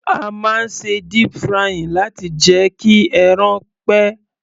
A máa ń ṣe deep frying láti jẹ́ kí ẹran pẹ́.